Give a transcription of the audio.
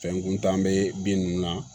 Fɛn kuntan bɛ bin ninnu na